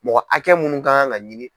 Mɔgɔ hakɛ mun kan ka ɲini.